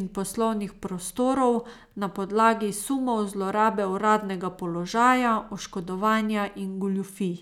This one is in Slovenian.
in poslovnih prostorov, na podlagi sumov zlorabe uradnega položaja, oškodovanja in goljufij.